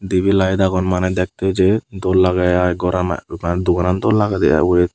tabil light agon mane dekte je dol lage ai goran ai mane doganan dol lagede ai ugure.